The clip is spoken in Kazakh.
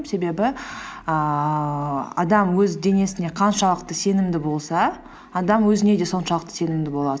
себебі ііі адам өз денесіне қаншалықты сенімді болса адам өзіне де соншалықты сенімді болады